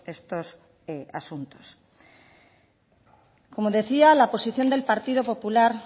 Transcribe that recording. estos asuntos como decía la posición del partida popular